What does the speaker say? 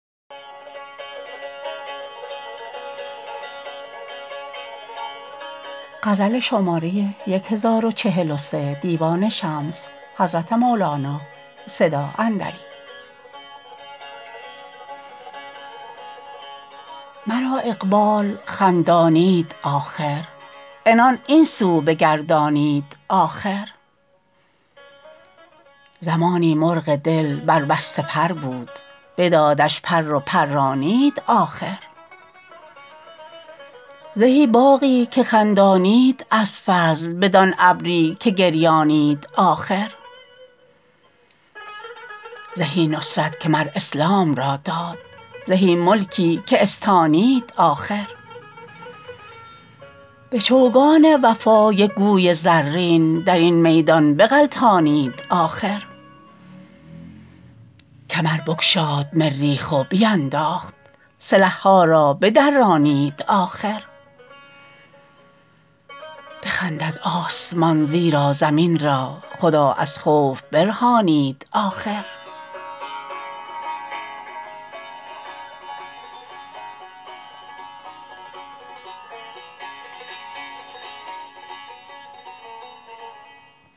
مرا اقبال خندانید آخر عنان این سو بگردانید آخر زمانی مرغ دل بربسته پر بود بدادش پر و پرانید آخر زهی باغی که خندانید از فضل بدان ابری که گریانید آخر زهی نصرت که مر اسلام را داد زهی ملکی که استانید آخر به چوگان وفا یک گوی زرین در این میدان بغلطانید آخر کمر بگشاد مریخ و بینداخت سلح ها را بدرانید آخر بخندد آسمان زیرا زمین را خدا از خوف برهانید آخر